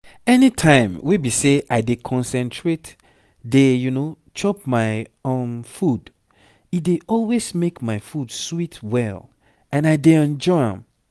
anytime wey be say i dey concentrate dey chop my um food e dey always make my food sweet well and i dey enjoy am